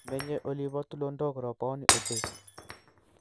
Menyo oli bo tulondok roboni ochei